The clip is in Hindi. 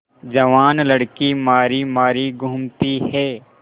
जवान लड़की मारी मारी घूमती है